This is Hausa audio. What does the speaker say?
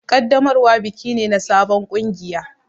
Ƙaddamarwa biki ne na sabon kungiya.